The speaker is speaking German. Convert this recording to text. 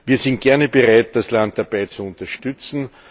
Wir sind gerne bereit, das Land dabei zu unterstützen.